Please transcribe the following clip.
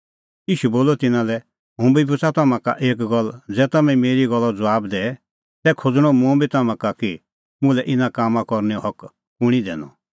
ईशू बोलअ तिन्नां लै हुंबी पुछ़ा तम्हां का एक गल्ल ज़ै तम्हैं मेरी गल्लो ज़बाब दैए तै खोज़णअ मुंबी तम्हां का कि मुल्है इना कामां करनैओ हक कुंणी दैनअ